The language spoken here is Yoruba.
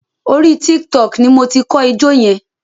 Orí Tiktok ni mo ti kọ́ ijó yẹn.